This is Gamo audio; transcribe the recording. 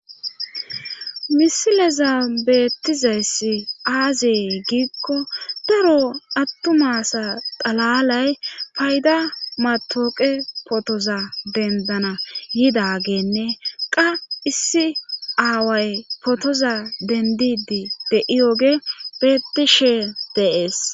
Misileza beettizayssi aazyey giikko daro attumasa xalalay payda matooqe potoza dendana yidageenne qa issi aaway potoza dendidi de7iyoge beettishe deees.